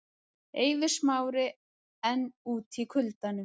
Eiður Smári enn úti í kuldanum